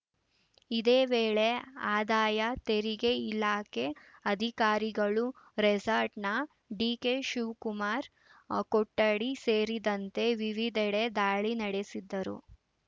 ಇದೇ ವೇಳೆ ಆದಾಯ ತೆರಿಗೆ ಇಲಾಖೆ ಅಧಿಕಾರಿಗಳು ರೆಸಾರ್ಟ್‌ನ ಡಿಕೆ ಶಿವಕುಮಾರ್‌ ಕೊಠಡಿ ಸೇರಿದಂತೆ ವಿವಿದೆಡೆ ದಾಳಿ ನಡೆಸಿದ್ದರು